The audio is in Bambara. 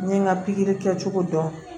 N ye n ka pikiri kɛcogo dɔn